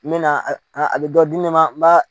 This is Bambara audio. N mɛna na a a dɔ di ne ma n b'a